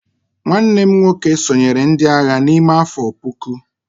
nwanne m nwoke sonyeere ndi agha n'ime afo puku